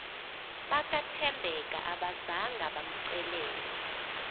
bakathembeka abazanga bamcelele